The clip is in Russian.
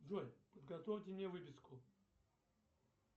джой подготовьте мне выписку